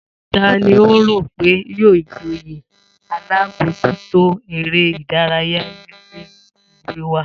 Ta ni o rò pé yóò joyè alábòójútó eré ìdárayá nílé ìwé wa?